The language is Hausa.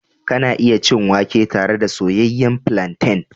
Kana iya cin wake tare da soyayyen plantain.